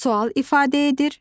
Sual ifadə edir.